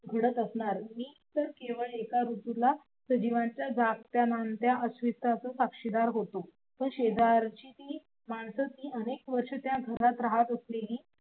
घडत असणार. मी तर केवल एक ऋतूला सजीवांचा जागत्या माणत्या अस्तित्वाच साक्षीदार होतो. शेजारची ती मानस अनेक वर्ष त्या घरात राहत असलेली